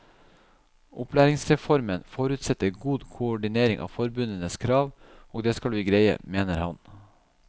Opplæringsreformen forutsetter god koordinering av forbundenes krav, og det skal vi greie, mener han.